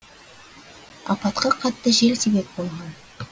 апатқа қатты жел себеп болған